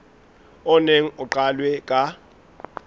o neng o qalwe ka